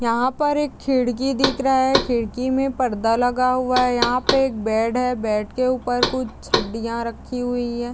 यहाँ पर एक खिड़की दिख रहा है खिड़की में पर्दा लगा हुआ है यहाँ पे एक बेड है बेड के ऊपर कुछ हड्डियां रखी हुई हैं।